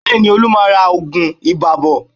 Bẹ́ẹ̀ni, Olú máa ra oògùn ibà bọ̀